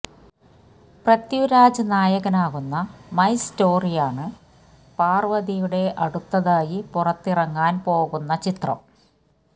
പ്രിഥ്വിരാജ് നായകനാകുന്ന മൈ സ്റ്റോറിയാണ് പാര്വതിയുടെ അടുത്തതായി പുറത്തിറങ്ങാന് പോകുന്ന ചിത്രം